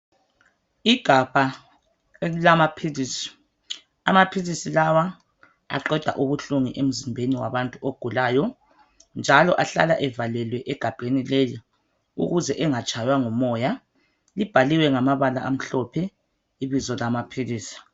Igabha elilamaphilisi. Amaphilisi lawa aqeda ubuhlungu emzimbeni wabantu ogulayo njalo ahlala evalelwe egabheni leli ukuze engatshaywa ngumoya. Libhaliwe ngamabala amhlophe ibizo lamaphilisi.